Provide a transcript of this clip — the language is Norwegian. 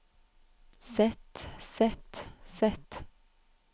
sett sett sett